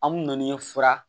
An mun ni fura